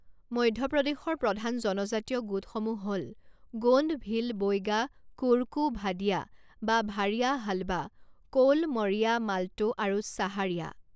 মধ্যপ্ৰদেশৰ প্ৰধান জনজাতীয় গোটসমূহ হ'ল গোণ্ড ভীল বৈগা কোৰকু ভাদিয়া বা ভাড়িয়া হালবা কৌল মৰিয়া মাল্টো আৰু ছাহাৰিয়া।